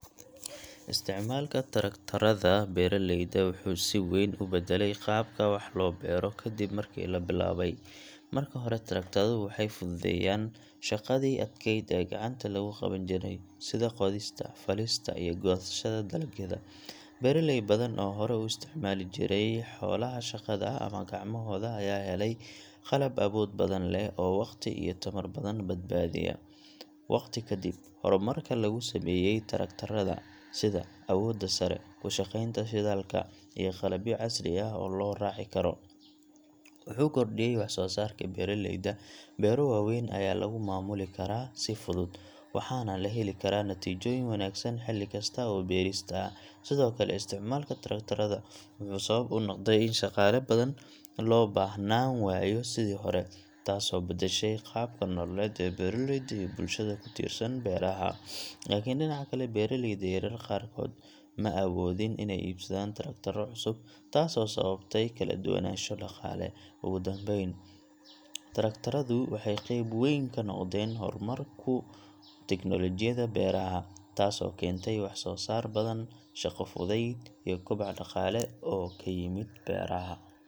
Isticmaalka taraktarrada beeraleyda wuxuu si weyn u beddelay qaabka wax loo beero kadib markii la bilaabay. Marka hore, taraktarradu waxay fududeeyeen shaqadii adkeyd ee gacanta lagu qaban jiray, sida qodista, falista, iyo goosashada dalagyada. Beeraley badan oo hore u isticmaali jiray xoolaha shaqada ama gacmahooda ayaa helay qalab awood badan leh oo waqti iyo tamar badan badbaadiya. Waqti ka dib, horumarka lagu sameeyay taraktarrada sida awoodda sare, ku shaqaynta shidaalka, iyo qalabyo casri ah oo la raaci karo wuxuu kordhiyay wax-soo-saarka beeraleyda. Beero waaweyn ayaa lagu maamuli karaa si fudud, waxaana la heli karaa natiijooyin wanaagsan xilli kasta oo beerista ah. Sidoo kale, isticmaalka taraktarrada wuxuu sabab u noqday in shaqaale badan loo baahnaan waayo sidii hore, taasoo beddeshay qaabka nololeed ee beeraleyda iyo bulshada ku tiirsan beeraha. Laakiin dhinaca kale, beeraleyda yaryar qaarkood ma awoodin inay iibsadaan taraktarro cusub, taasoo sababtay kala duwanaansho dhaqaale. Ugu dambayn, taraktarradu waxay qeyb weyn ka noqdeen horumarka tiknoolajiyadda beeraha, taasoo keentay wax-soo-saar badan, shaqo fudayd, iyo koboc dhaqaale oo ka yimid beeraha.